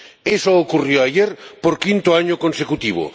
Eso ocurrió ayer por quinto año consecutivo.